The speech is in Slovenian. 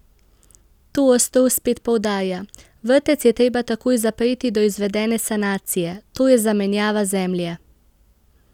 To ostro spet poudarja: 'Vrtec je treba takoj zapreti do izvedene sanacije, to je zamenjava zemlje.